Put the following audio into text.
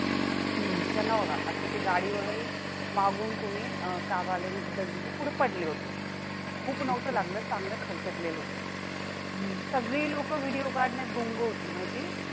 खूप नव्हतं लागलं चांगलं खरचटले होतं, सगळी लोक video काढण्यात गुंग होती माहितीये?